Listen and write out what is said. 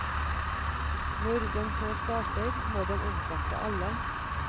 Når den så starter, må den omfatte alle.